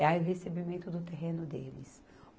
é o recebimento do terreno deles.